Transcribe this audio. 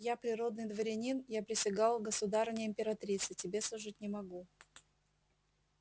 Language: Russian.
я природный дворянин я присягал государыне императрице тебе служить не могу